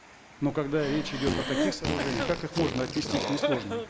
но когда речь идет о таких сооружениях как их можно отнести к несложным